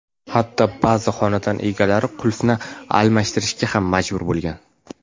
Hatto, ba’zi xonadon egalari qulfni almashtirishga ham majbur bo‘lgan.